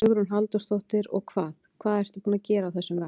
Hugrún Halldórsdóttir: Og hvað, hvað ertu búin að gera á þessum vegg?